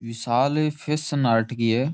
विशाल fashion art गी है।